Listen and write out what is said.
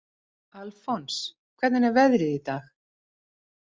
Alfons, hvernig er veðrið í dag?